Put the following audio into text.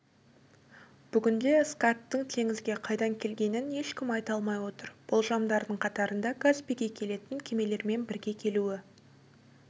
бүгінде скаттың теңізге қайдан келгенін ешкім айта алмай отыр болжамдардың қатарында каспийге келетін кемелермен бірге келуі